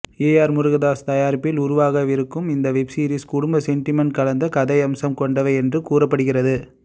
AR Murugadoss தயாரிப்பில் உருவாகவிருக்கும் இந்த வெப்சீரிஸ் குடும்ப சென்டிமென்ட் கலந்த கதையம்சம் கொண்டவை என்றும் கூறப்படுகிறது